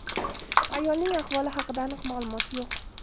Ayolning ahvoli haqida aniq ma’lumot yo‘q.